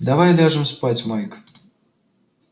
давай ляжем спать майк